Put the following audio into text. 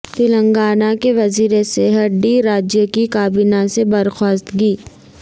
تلنگانہ کے وزیر صحت ٹی راجیا کی کابینہ سے برخواستگی